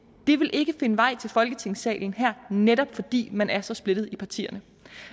ville ikke finde vej til folketingssalen her netop fordi man er så splittet i partierne